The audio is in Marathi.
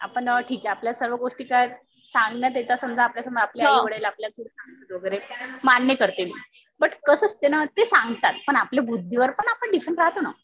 ठीक आहे. आपल्याला सर्व गोष्टी सांगण्यात येतात समजा आपल्या समोर आपले आईवडील आपल्याला थोडं सांगतात वगैरे मान्य करते मी. बट कसं असते ना ते सांगतात पण आपल्या बुद्धीवर पण आपण डिपेंड राहतो ना.